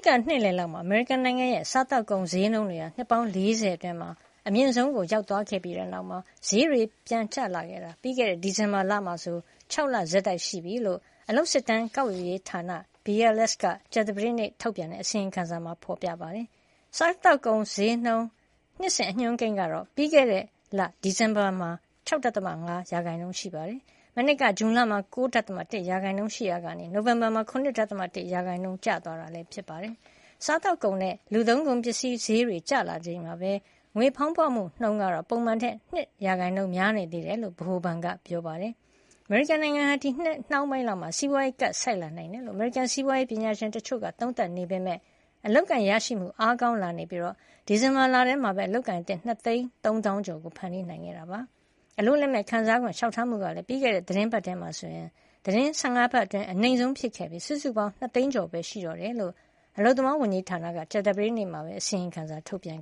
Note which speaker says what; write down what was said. Speaker 1: က နှစ်လယ်လောက်မှာ အမေရိကန်နိုင်ငံရဲ့ စားသောက်ကုန်ဈေးနှုန်းတွေဟာ နှစ်ပေါင်း ၄၀ အတွင်း အမြင့်ဆုံး ရောက်သွားခဲ့ပြီးတဲ့နောက် ဈေးတွေပြန်ကျလာတာ ပြီးခဲ့တဲ့ ဒီဇင်ဘာလမှာဆို ၆ လဆက်တိုက်ရှိပြီလို့ အလုပ်စစ်တမ်း ကောက်ယူရေးဌာန BLS က ကြာသပတေးနေ့ထုတ်ပြန်တဲ့ အစီရင်ခံစာမှာ ဖေါ်ပြထားပါတယ်။ စားသောက်ကုန်ဈေးနှုန်း နှစ်စဉ် အညွှန်းကိန်းကတော့ ပြီးခဲ့တဲ့လ ဒီဇင်ဘာမှာ ၆.၅ % ရှိပါတယ်။ မနှစ်က ဇွန်လမှာ ၉.၁ % ရှိရာကနေ နိုဝင်ဘာလမှာ ၇.၁ % ကျသွားတာ ဖြစ်ပါတယ်။ စားသောက်ကုန်နဲ့ လူသုံးကုန်ပစ္စည်းဈေးတွေ ကျလာချိန်မှာပဲ ငွေဖေါင်းပွမှုနှုန်းကတော့ ပုံမှန်ထက် ၂ % များနေသေးတယ်လို့ ဗဟိုဘဏ်က ပြောပါတယ်။ အမေရိကန်နိုင်ငံဟာ ဒီနှစ်နှောင်းပိုင်းလောက်မှာ စီးပွါးရေးကပ်ဆိုက်နိုင်တယ်လို့ အမေရိကန်စီးပွါးရေးပညာရှင်တချို့က သုံးသပ်နေကြပေမယ့် အလုပ်အကိုင်ရရှိမှုတွေ အားကောင်းလာနေပြီး ဒီဇင်ဘာလထဲမှာပဲ အလုပ်အကိုင်သစ် ၂၃၀,၀၀၀ ကျော် ဖန်တီးနိုင်ခဲ့တာ ဖြစ်ပါတယ်။ အလုပ်လက်မဲ့ ခံစားခွင့်လျှောက်ထားမှုကလည်း ပြီးခဲ့တဲ့ သီတင်းပတ်ထဲမှာဆိုရင် သီတင်း ၁၅ ပတ်အတွင်း အနိမ့်ဆုံးဖြစ်ခဲ့ပြီး စုစုပေါင်း ၂ သိန်းကျော်ပဲရှိတော့တယ်လို့ အလုပ်သမားဝန်ကြီးဌာနကလည်း ကြာသပတေးနေ့မှာ အစီရင်ခံစာ ထုတ်ပြန်